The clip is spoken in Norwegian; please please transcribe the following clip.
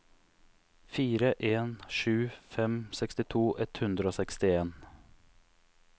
fire en sju fem sekstito ett hundre og sekstien